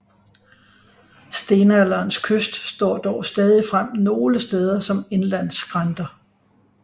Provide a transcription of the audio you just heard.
Stenalderens kyst står dog stadig frem nogle steder som indlandsskrænter